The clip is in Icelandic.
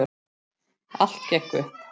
Allt gekk upp.